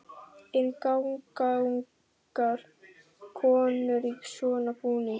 En ganga ungar konur í svona búningum?